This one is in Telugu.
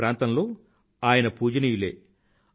వారి ప్రాంతంలో ఆయన పూజనీయులే